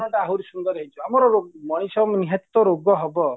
ଆହୁରି ସୁନ୍ଦର ହେଇଯିବ ଆମର ମଣିଷ ନିହାତିତ ରୋଗ ହବ